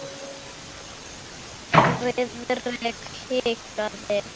Friðrik hikaði.